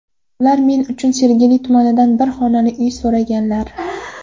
Ular men uchun Sergeli tumanidan bir xonali uy so‘raganlar.